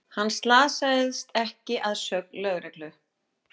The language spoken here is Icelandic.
Hann slasaðist ekki að sögn lögreglu